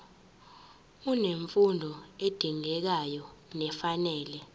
unemfundo edingekayo nefanele